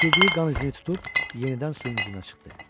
İtirdiyi qan izini tutub yenidən suyun üzünə çıxdı.